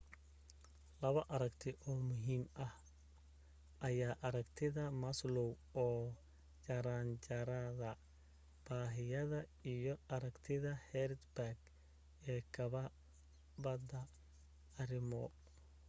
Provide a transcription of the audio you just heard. labo aragti oo muhiim ah ayaa aragtida maslow oo jaranjarada baahiyada iyo aragtida hertzberg ee kabada arrimo